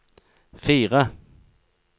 fire